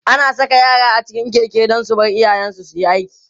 ana Saka yara a cikin Keke Dan su Bar iyayen su suyi aiki